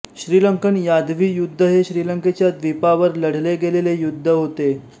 श्रीलंकन यादवी युद्ध हे श्रीलंकेच्या द्वीपावर लढले गेलेले युद्ध होते